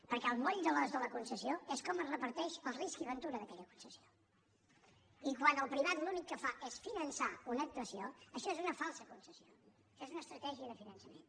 perquè el moll de l’os de la concessió és com es reparteix el risc i ventura d’aquella concessió i quan el privat l’únic que fa és finançar una actuació això és una falsa concessió això és una estratègia de finançament